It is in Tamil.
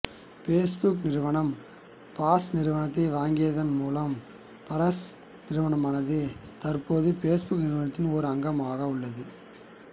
பேஸ்புக் நிறுவனம் பாஸ் நிறுவனத்தை வாங்கியதன் மூலம் பார்ஸ் நிறுவனமானது தற்பொழுது பேஸ்புக் நிறுவனத்தின் ஒரு அங்கமாகியுள்ளது